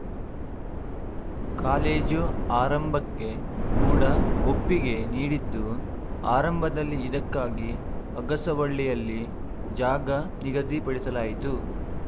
college ಆರಂಭಕ್ಕೆ ಕೂಡ ಒಪ್ಪಿಗೆ ನೀಡಿದ್ದು ಆರಂಭದಲ್ಲಿ ಇದಕ್ಕಾಗಿ ಅಗಸವಳ್ಳಿಯಲ್ಲಿ ಜಾಗ ನಿಗದಿಪಡಿಸಲಾಯಿತು